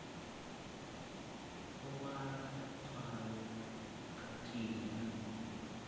u vhala tswayo khathihi na